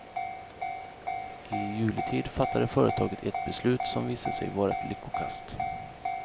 I juletid fattade företaget ett beslut som visade sig vara ett lyckokast.